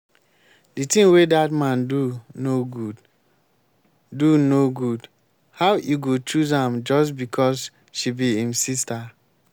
the thing wey dat man do no good. do no good. how e go choose am just because she be im sister